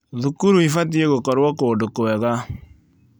Thukuru ibatie gũkorwo kũndũ kwega.